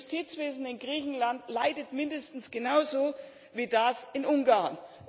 Das Justizwesen in Griechenland leidet mindestens genauso wie das in Ungarn.